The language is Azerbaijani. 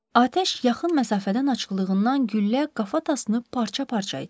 Atəş yaxın məsafədən açıldığından güllə qafa tasını parça-parça etmişdi.